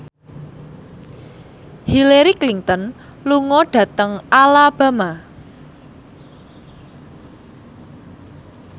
Hillary Clinton lunga dhateng Alabama